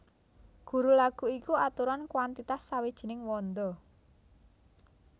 Guru laghu iku aturan kwantitas sawijining wanda